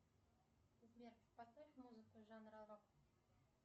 сбер поставь музыку жанра рок